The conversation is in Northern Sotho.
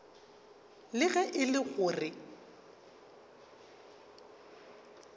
le ge e le gore